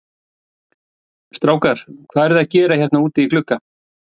Strákar, hvað eruð þið að gera hérna úti í glugga?